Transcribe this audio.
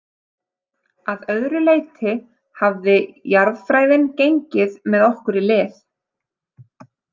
Að öðru leyti hafði jarðfræðin gengið með okkur í lið.